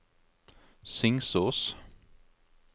Singsås